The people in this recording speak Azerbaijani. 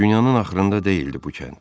Dünyanın axırında deyildi bu kənd.